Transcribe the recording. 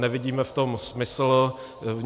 Nevidíme v tom smysl.